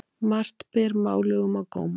Margt ber málugum á góma.